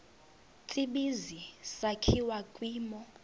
tsibizi sakhiwa kwimo